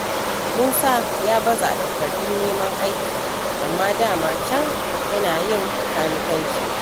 Musa ya baza takardun neman aiki, amma dama can yana yin kanikanci.